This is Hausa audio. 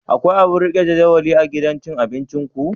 Akwai abun rike jadawali a gidan cin abinciku?